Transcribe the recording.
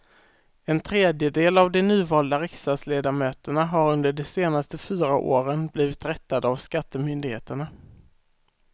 En tredjedel av de nyvalda riksdagsledamöterna har under de senaste fyra åren blivit rättade av skattemyndigheterna.